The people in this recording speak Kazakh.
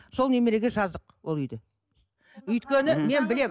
сол немерге жаздық ол үйді өйткені мен білемін